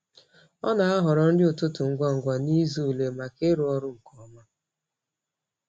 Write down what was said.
Ọ na-ahọrọ nri ụtụtụ ngwa ngwa n’izu ule maka ịrụ ọrụ nke ọma.